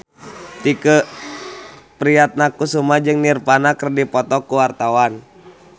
Tike Priatnakusuma jeung Nirvana keur dipoto ku wartawan